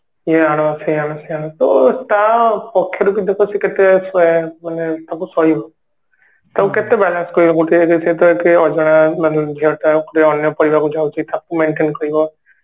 ଇଏ ଆଣ ସିଏ ଆଣ ସିଏ ଆଣ ତୋ ତା ପକ୍ଷରୁ ବି ଦେଖ ସେ କେତେ ମାନେ ତାକୁ ସହିବ ତାକୁ କେତେ balance କରିବାକୁ ପଡୁଥିବ ଏକ ରେ ସେ ତ ଅଜଣା ଝିଅ ଟା ପୁଣି ଅନ୍ୟ ପରିବାର କୁ ଯାଉଛି ତାକୁ maintain କରିବ